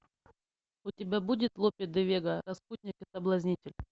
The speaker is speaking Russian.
у тебя будет лопе де вега распутник и соблазнитель